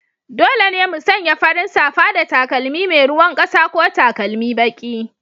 Dole ne mu sanya farin safa da takalmi mai ruwan ƙasa ko takalmi baki.